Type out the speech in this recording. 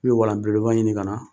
I bɛ walan belebeleba ɲini ka na